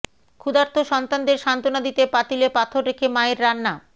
ক্ষুধার্ত সন্তানদের সান্ত্বনা দিতে পাতিলে পাথর রেখে মায়ের রান্না